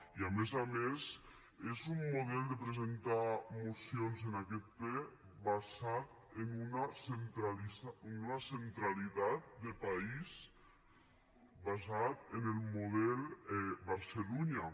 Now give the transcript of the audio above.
i a més a més és un model de presentar mocions en aquest ple basat en una centralitat de país basat en el model barcelunya